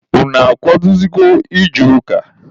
Unu akwadosigo ije ụka?